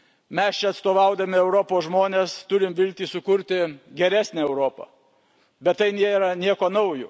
Mes čia, atstovaudami Europos žmones, turime viltį sukurti geresnę Europą, bet tai nėra nieko naujo.